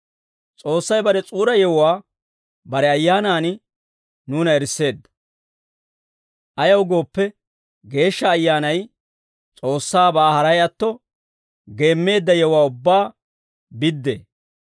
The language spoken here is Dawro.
S'oossay bare S'uura yewuwaa bare Ayyaanaan nuuna erisseedda; ayaw gooppe, Geeshsha Ayyaanay S'oossaabaa haray atto geemmeedda yewuwaa ubbaa biddee.